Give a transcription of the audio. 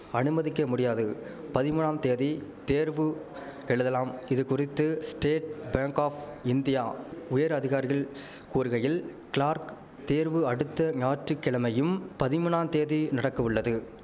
அனுமதிக்க முடியாது பதிமூனாம்தேதி தேர்வு எழுதலாம் இதுகுறித்து ஸ்டேட் பேங்க் ஆப் இந்தியா உயர் அதிகாரிகள் கூறுகையில் கிளார்க் தேர்வு அடுத்த ஞாற்றுக்கிழமையும் பதிமூனாம்தேதி நடக்கவுள்ளது